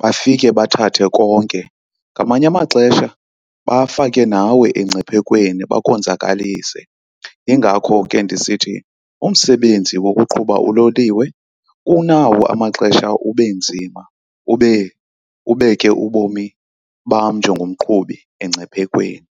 bafike bathathe konke. Ngamanye amaxesha bafake nawe engciphekweni bakonzakalise. Yingakho ke ndisithi umsebenzi wokuqhuba uloliwe unawo amaxesha ube nzima ubeke ubomi bam njengomqhubi engciphekweni.